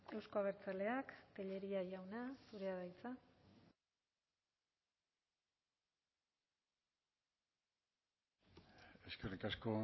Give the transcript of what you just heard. euzko abertzaleak tellería jauna zurea da hitza eskerrik asko